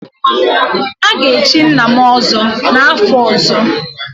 A ga-echi nna m ọzọ n'afọ ọzọ